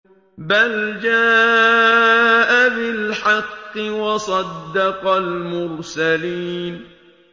بَلْ جَاءَ بِالْحَقِّ وَصَدَّقَ الْمُرْسَلِينَ